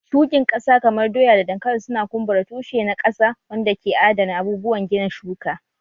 Shukin ƙasa kamar doya da dankali su na kumbura tushe na ƙasa wanda ke adana abubuwan gina shuka